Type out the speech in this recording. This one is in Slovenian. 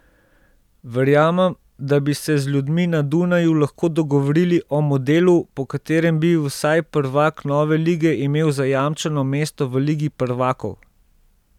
Verjamem, da bi se z ljudmi na Dunaju lahko dogovorili o modelu, po katerem bi vsaj prvak nove lige imel zajamčeno mesto v ligi prvakov.